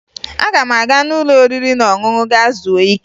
Aga m aga n'ụlọ oriri na ọṅụṅụ gaa zuo ike